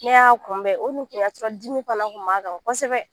Ne y'a kunbɛ o kun tɛ ka sɔrɔ dimi fana kun b'a kan kosɛbɛ